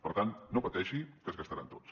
per tant no pateixi que es gastaran tots